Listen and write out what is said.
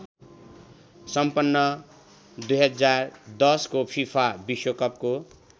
सम्पन्न २०१० को फिफा विश्वकपको